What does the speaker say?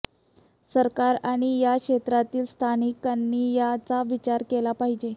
सरकार आणि या क्षेत्रातील संस्थांनी याचा विचार केला पाहिजे